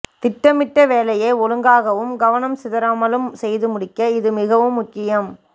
திட்டமிட்ட வேலையை ஒழுங்காகவும் கவனம் சிதறாமலும் செய்து முடிக்க இது மிகவும் முக்கியம்